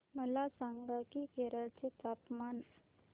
मला सांगा की केरळ चे तापमान